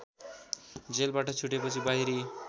जेलबाट छुटेपछि बाहिरी